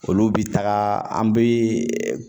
Olu bi taga an be